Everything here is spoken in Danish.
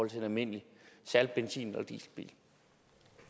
til en almindelig benzin